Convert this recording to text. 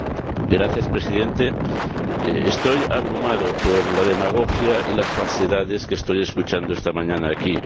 Señor Presidente, estoy abrumado por la demagogia y las falsedades que estoy escuchando esta mañana aquí.